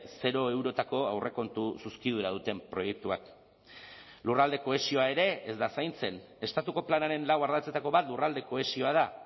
zero eurotako aurrekontu zuzkidura duten proiektuak lurralde kohesioa ere ez da zaintzen estatuko planaren lau ardatzetako bat lurralde kohesioa da